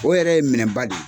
O yɛrɛ ye minɛba de ye.